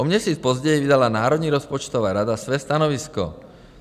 O měsíc později vydala Národní rozpočtová rada své stanovisko.